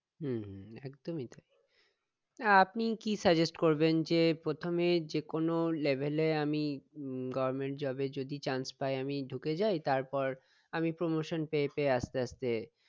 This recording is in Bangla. হম হম একদমই তাই আহ আপনি কি suggest করবেন যে প্রথমে যেকোনো level এ আমি government job এ যদি chance পায় আমি ঢুকে যায় তারপর আমি promotion পেয়ে পেয়ে আসতে আসতে